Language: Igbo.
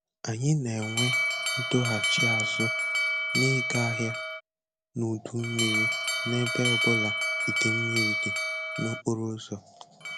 Anyị na-enwe ndọghachi azụ na-ịga ahịa n'udu mmiri n'ebe ọbụla idei mmiri dị n'okporo ụzọ